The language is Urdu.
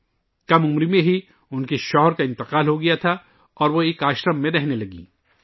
ان کے شوہر کا کم عمر میں ہی انتقال ہو گیا تھا اور وہ ایک آشرم میں رہنے لگیں